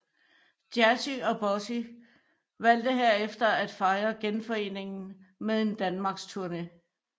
Jazzy og Bossy valgte herefter at fejre genforeningen med en danmarks tourné